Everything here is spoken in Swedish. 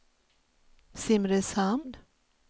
Simrishamn